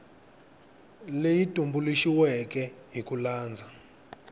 leyi tumbuluxiweke hi ku landza